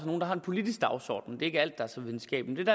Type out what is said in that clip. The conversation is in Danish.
nogle der har en politisk dagsorden det er ikke alt der er så videnskabeligt